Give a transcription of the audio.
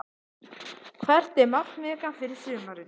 Hvert er markmið ykkar fyrir sumarið?